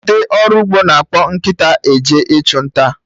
Ndị ọrụ ugbo na-akpọ nkịta eje ịchụ nta